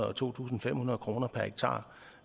og to tusind fem hundrede kroner per hektar